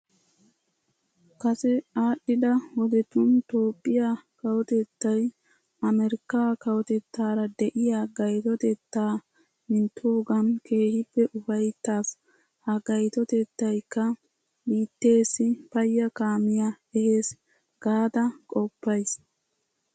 Kase aadhdhida wodetun Toophphiya kawotettay America kawotettaara de'iya gayitotettaa minttoogan keehippe ufayittaas. Ha gayitotettayikka biitteessi payya kaamiya ehees gaada qoppayyiis.